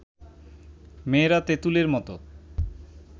মেয়েরা তেঁতুলের মতো